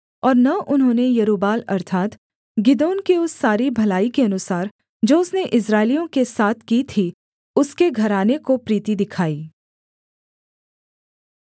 और न उन्होंने यरूब्बाल अर्थात् गिदोन की उस सारी भलाई के अनुसार जो उसने इस्राएलियों के साथ की थी उसके घराने को प्रीति दिखाई